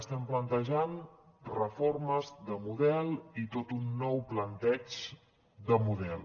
estem plantejant reformes de model i tot un nou planteig de model